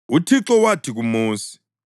UThixo wathi kuMosi,